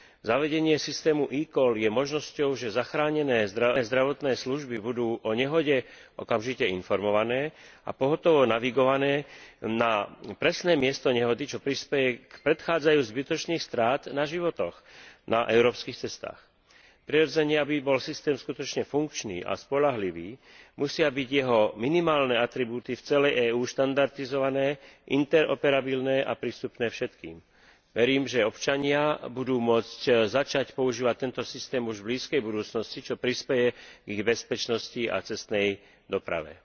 Zavedenie systému e call je možnosťou, že záchranné zdravotné služby budú o nehode okamžite informované a pohotovo navigované na presné miesto nehody, čo prispeje k predchádzaniu zbytočných strát na životoch na európskych cestách. Prirodzene, aby bol systém skutočne funkčný a spoľahlivý, musia byť jeho minimálne atribúty v celej EÚ štandardizované, interoperabilné a prístupné všetkým. Verím, že občania budú môcť začať používať tento systém už v blízkej budúcnosti, čo prispeje k ich bezpečnosti a cestnej doprave.